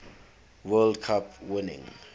world cup winning